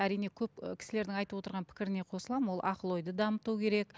әрине көп кісілердің айтып отырған пікіріне қосыламын ол ақыл ойды дамыту керек